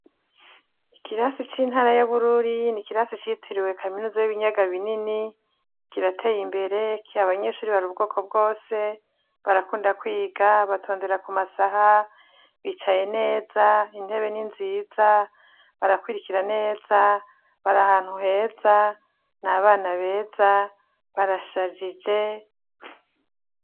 Ikirasi c'intara y'abururi ni ikirasi citiriwe kaminuza y'ibinyaga binini kirateye imberek abanyeshuri bari ubwoko bwose barakunda kwiga batondera ku masaha bicaye neza intebe n'inziza barakwirikira neza barahantu heza ni abana beza barashajije.